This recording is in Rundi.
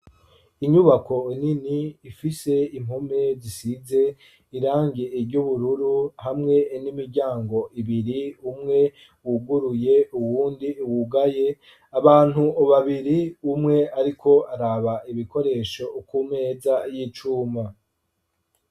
Inyubako nini ifise impome zisize irangi ry’ubururu hamwe n'imiryango ibiri umwe wuguruye uwundi wugaye, abantu babiri umwe ariko araba ibikoresho ukumeza y'icuma.